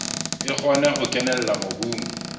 e kgone ho kenella mobung